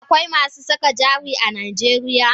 Akwai masu saka jari a najeriya?